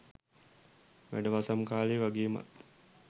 වැඩවසම් කාලෙ වගේමත්